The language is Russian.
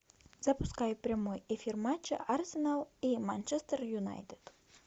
запускай прямой эфир матча арсенал и манчестер юнайтед